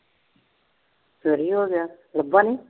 ਚੋਰੀ ਹੋ ਗਿਆ, ਲੱਭਾ ਨੀ?